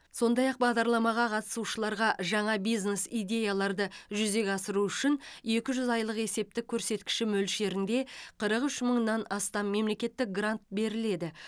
сондай ақ бағдарламаға қатысушыларға жаңа бизнес идеяларды жүзеге асыру үшін екі жүз айлықтық есептік көрсеткіш мөлшерінде қырық үш мыңнан астам мемлекеттік грант беріледі